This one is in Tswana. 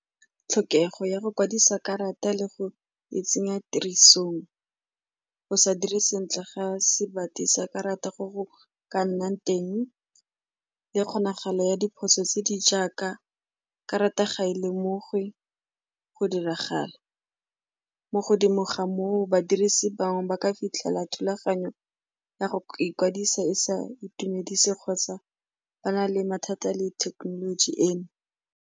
Tlhokego ya go kwadisa karata le go e tsenya tirisong, go sa dire sentle ga se badi sa karata go go ka nnang teng le kgonagalo ya diphoso tse di jaaka karata ga e lemogiwe go diragala mo godimo ga moo ba dirise bangwe ba ka fitlhela thulaganyo ya go ikwadisa e sa itumedise kgotsa ba na le mathata a le thekenoloji eno.